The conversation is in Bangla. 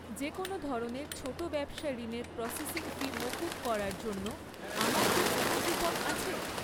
যেকোনও ধরনের ছোট ব্যবসা ঋণের প্রসেসিং ফি মকুব করার জন্য আমার কি কোনও কুপন আছে?